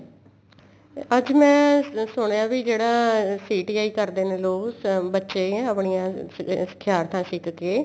ਅੱਜ ਮੈਂ ਸੁਣਿਆ ਵੀ ਜਿਹੜਾ CTI ਕਰਦੇ ਨੇ ਲੋਗ ਬੱਚੇ ਆਪਣੀਆਂ ਸਿਖਿਆਰਥਾ ਸਿੱਖ ਕੇ